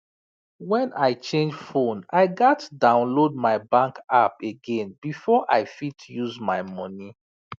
when i change phone i gats download my bank app again before i fit use my money